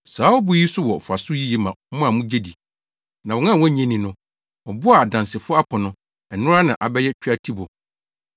Saa ɔbo yi so wɔ mfaso yiye ma mo a mugye di. Na wɔn a wonnye nni no, “Ɔbo a adansifo apo no, ɛno ara na abɛyɛ tweatibo.”